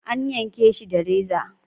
An yanke shi da reza.